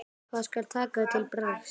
Hvað skal taka til bragðs?